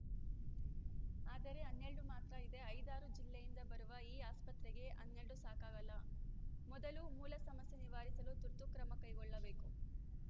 ಆದರೆ ಹನ್ನೆರಡು ಮಾತ್ರ ಇದೆ ಐದಾರು ಜಿಲ್ಲೆಯಿಂದ ಬರುವ ಈ ಆಸ್ಪತ್ರೆಗೆ ಹನ್ನೆರಡು ಸಾಕಾಗಲ್ಲ ಮೊದಲು ಮೂಲ ಸಮಸ್ಯೆ ನಿವಾರಿಸಲು ತುರ್ತು ಕ್ರಮ ಕೈಗೊಳ್ಳಬೇಕು